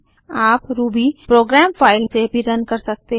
आप Ruby program file से भी रन कर सकते हैं